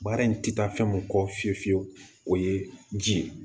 Baara in ti taa fɛn mun kɔ fiye fiye fiye o ye ji ye